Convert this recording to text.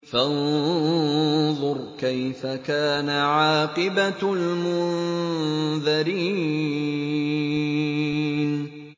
فَانظُرْ كَيْفَ كَانَ عَاقِبَةُ الْمُنذَرِينَ